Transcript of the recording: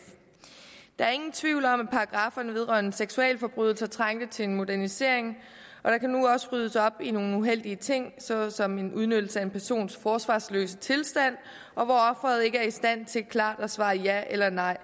der er ingen tvivl om at paragrafferne vedrørende seksualforbrydelser trængte til en modernisering og der kan nu også ryddes op i nogle uheldige ting såsom en udnyttelse af en persons forsvarsløse tilstand hvor offeret ikke er i stand til klart at svare ja eller nej